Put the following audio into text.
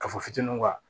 Kafo fitininw kan